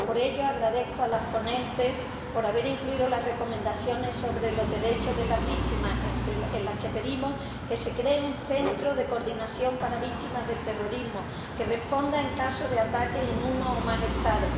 Por ello, agradezco a las ponentes haber incluido las recomendaciones sobre los derechos de las víctimas en las que pedimos que se cree un centro de coordinación para víctimas del terrorismo, que responda en caso de ataque en uno o más Estados